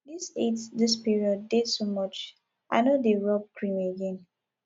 di heat dis period dey too much i no dey rob cream again